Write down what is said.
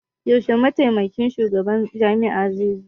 Yaushe Mataimakin Shugaban Jami'ar zai zo?